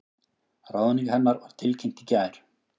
Ráðning hennar var tilkynnt í gær